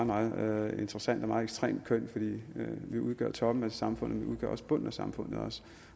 meget meget interessant og ekstremt køn vi udgør toppen af samfundet udgør også bunden af samfundet